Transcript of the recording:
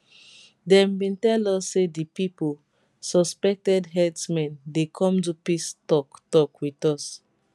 dem bin tell us say di pipo suspected herdsmen dey come do peace toktok wit us